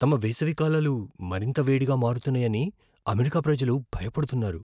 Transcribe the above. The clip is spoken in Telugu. తమ వేసవికాలాలు మరింత వేడిగా మారుతున్నాయని అమెరికా ప్రజలు భయపడుతున్నారు.